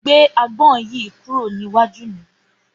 Gbé agbón yìí kúrò níwájú mi.